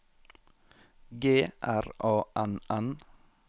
G R A N N